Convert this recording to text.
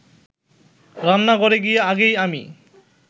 রান্নাঘরে গিয়ে আগেই আমি